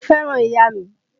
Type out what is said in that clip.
Mo fẹ́ràn ìyá mi